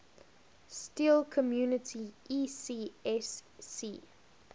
steel community ecsc